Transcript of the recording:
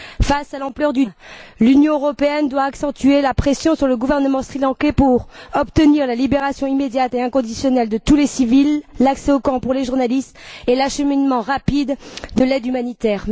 Face à l'ampleur du drame, l'Union européenne doit accentuer la pression sur le gouvernement sri lankais pour obtenir la libération immédiate et inconditionnelle de tous les civils, l'accès aux camps pour les journalistes et l'acheminement rapide de l'aide humanitaire.